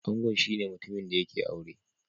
Angon shine mutumin da yake aure.